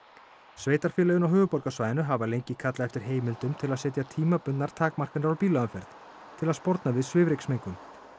sveitarfélögin á höfuðborgarsvæðinu hafa lengi kallað eftir heimildum til að setja tímabundnar takmarkanir á bílaumferð til að sporna við svifryksmengun